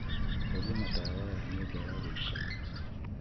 horia matawa ya nyumba ya guiikara